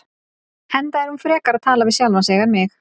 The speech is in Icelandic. Enda er hún frekar að tala við sjálfa sig en mig.